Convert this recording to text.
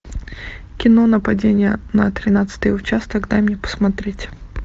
кино нападение на тринадцатый участок дай мне посмотреть